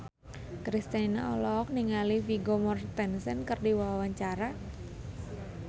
Kristina olohok ningali Vigo Mortensen keur diwawancara